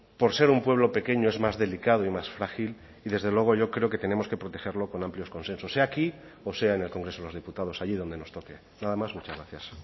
por ser un pueblo pequeño es más delicado y más frágil y desde luego yo creo que tenemos que protegerlo con amplios consensos sea aquí o sea en el congreso de los diputados allí donde nos toque nada más muchas gracias